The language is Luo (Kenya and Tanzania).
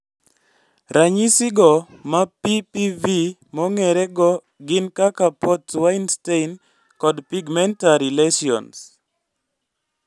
Ranyisi go ma PPV mong'ere go gin kaka port wine stain kod pigmentary lessions